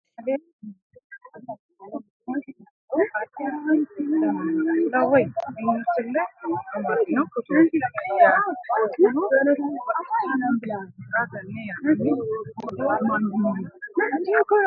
aleenni nooti maa xawisanno misileeti yinummoro addi addi dananna kuula woy biinsille amaddino footooti yaate qoltenno baxissannote xa tenne yannanni togoo footo haara danchate